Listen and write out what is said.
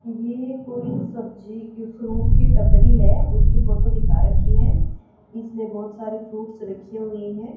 ये कोई सब्जी की फ्रूट की टपरी है उसकी फोटो दिखा रखी है इसमें बहोत सारी फ्रूट्स रखी हुईं हैं।